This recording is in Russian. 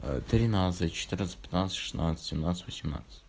тринадцать четырнадцать пятнадцать шестнадцать семнадцать восемнадцать